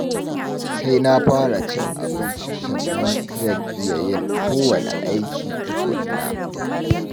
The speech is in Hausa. Sai na fara cin abinci sannan ma zan iya yin kowanne aiki tukunna